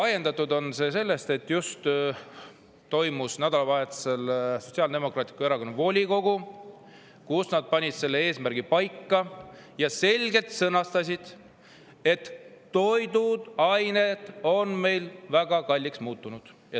Ajendatud on see sellest, et nädalavahetusel toimus Sotsiaaldemokraatliku Erakonna volikogu, kus nad panid eesmärgi paika ja sõnastasid selgelt, et toiduained on meil väga kalliks muutunud.